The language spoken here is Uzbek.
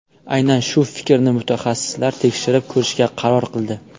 Aynan shu fikrni mutaxassislar tekshirib ko‘rishga qaror qildi.